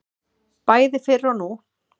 Bæði fyrr og nú.